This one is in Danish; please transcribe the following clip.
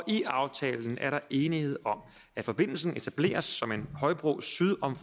i aftalen er der enighed om at forbindelsen etableres som en højbro syd om